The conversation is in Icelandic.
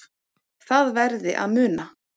Það verði að muna